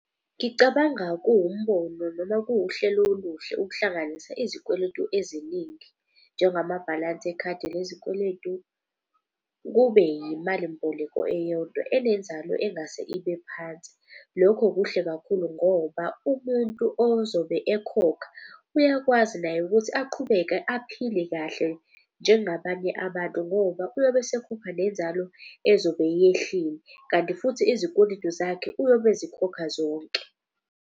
Ngicabanga kuwumbono noma kuwuhlelo oluhle ukuhlanganisa izikweletu eziningi. Njengamabhalansi ekhadi lezikweletu kube yimalimboleko eyodwa enenzalo engase ibe phansi. Lokho kuhle kakhulu ngoba umuntu ozobe ekhokha uyakwazi naye ukuthi aqhubeke aphile kahle njengabanye abantu. Ngoba uyobe esekhupha nenzalo ezobe yehlile, kanti futhi izikweletu zakhe uyobe ezikhokha zonke.